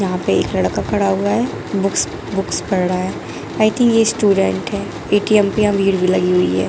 यहाँ पे एक लड़का खड़ा हुआ हैं बुक्स बुक्स पढ़ रहा हैं आई थिंक ये स्टूडेंट हैं ए.टी.एम पे यहां भीड़ भी लगी हुई हैं।